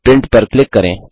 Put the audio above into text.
print पर click करें